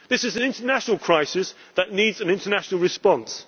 of the EU. This is an international crisis that needs an international